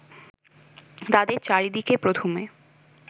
তাদের চারিদিকে প্রথমে